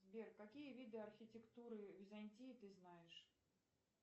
сбер какие виды архитектуры византии ты знаешь